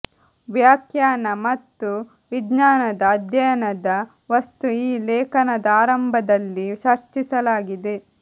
ವ್ಯಾಖ್ಯಾನ ಮತ್ತು ವಿಜ್ಞಾನದ ಅಧ್ಯಯನದ ವಸ್ತು ಈ ಲೇಖನದ ಆರಂಭದಲ್ಲಿ ಚರ್ಚಿಸಲಾಗಿದೆ